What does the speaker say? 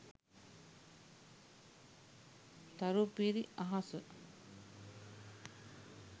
tharu piri ahasa